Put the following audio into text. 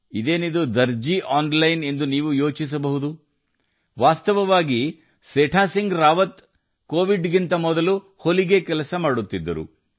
ಆನ್ಲೈನ್ನಲ್ಲಿ ದರ್ಜಿ ಎಂದರೇನು ಎಂದು ನೀವು ಆಶ್ಚರ್ಯ ಪಡುತ್ತೀರಿ ವಾಸ್ತವವಾಗಿ ಸೇಥಾ ಸಿಂಗ್ ರಾವತ್ ಅವರು ಹೊಲಿಗೆ ಟೈಲರಿಂಗ್ ಕೆಲಸ ಮಾಡುತ್ತಿದ್ದಾರೆ